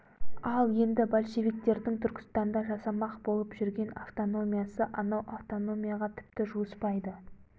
ал енді большевиктердің түркістанда жасамақ болып жүрген автономиясы анау автономияға тіпті жуыспайды